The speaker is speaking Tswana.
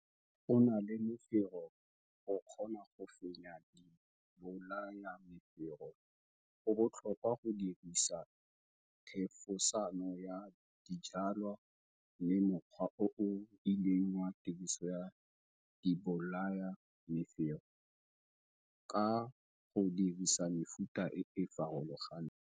Go ganela mefero go kgona go fenya dibolayamefero, go botlhokwa go dirisa thefosano ya dijwalwa le mokgwa o o rileng wa tiroso ya dibolayamefero, ka go dirisa mefuta e e farologaneng.